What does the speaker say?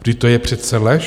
- Vždyť to je přece lež!